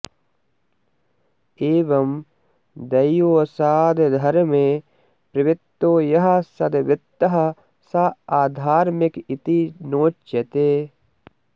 एवं दैववशादधर्मे प्रवृत्तो यः सद्वृत्तः स आधर्मिक इति नोच्यते